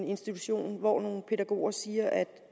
institution hvor nogle pædagoger siger at